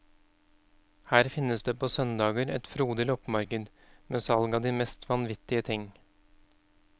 Her finnes det på søndager et frodig loppemarked med salg av de mest vanvittige ting.